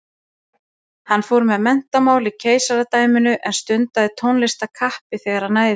Hann fór með menntamál í keisaradæminu en stundaði tónlist af kappi þegar næði gafst.